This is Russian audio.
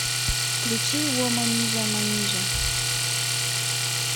включи воманижа манижа